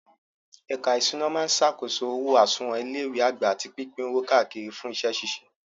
Ẹ̀ka ìṣúná máa ṣàkóso owó àsùnwọ̀n ilé ìwé àgbà àti pípín owó káàkiri fún iṣẹ́ ṣíṣe.